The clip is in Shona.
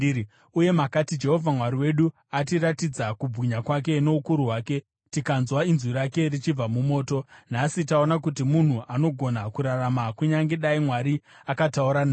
Uye makati, “Jehovha Mwari wedu atiratidza kubwinya kwake noukuru hwake, tikanzwa inzwi rake richibva mumoto. Nhasi taona kuti munhu anogona kurarama kunyange dai Mwari akataura naye.